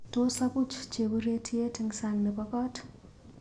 Tos apuch cheburetiet eng sang nebo kot?